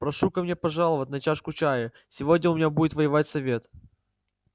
прошу ко мне пожаловать на чашку чаю сегодня у меня будет воевать совет